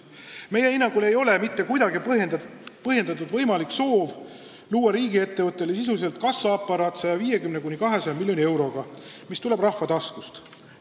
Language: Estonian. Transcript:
Meie hinnangul ei ole mitte kuidagi põhjendatud võimalik soov luua riigiettevõttele sisuliselt kassaaparaat 150–200 miljoni euroga, mis tuleb rahva taskust.